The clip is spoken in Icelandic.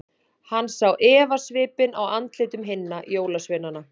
Hann sá efasvipinn á andlitum hinna jólasveinana.